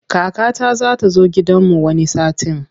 Kakata za ta zo gidanmu wani satin.